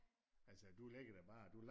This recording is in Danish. Altså du ligger der bare